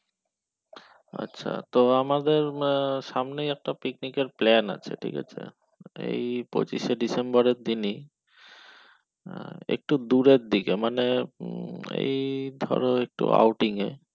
আচ্ছা তো আমাদের সামনেই একটা picnic এর plan আছে ঠিক আছেএই পঁচিশে ডিসেম্বর এর দিন ই একটু দূরের দিকে মানে উম এই ধরো একটু outing এ